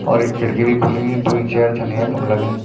और ये खिड़की भी खुलीं द्वि चेयर छन यखम लगईं।